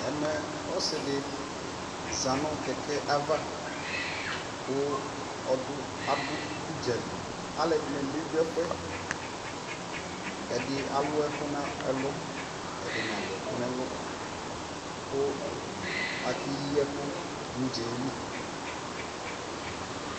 ɛmɛ ɔsiidi zanʋ kɛkɛɛ aɣa kʋ adʋ ʋdzali, alʋɛdini bi dʋ ɛƒʋɛ, ɛdi alʋ ɛkʋ nʋ ɛlʋ, ɛdi nalʋ ɛkʋ nʋ ɛlʋ kʋ akɛyi ɛkʋ nʋ ʋdzali